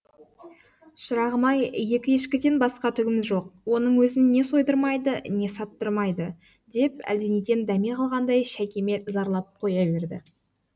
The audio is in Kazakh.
шырағым ай екі ешкіден басқа түгіміз жоқ оның өзін не сойдырмайды не саттырмайды деп әлденеден дәме қалғандай шәйкемел зарлап қоя берді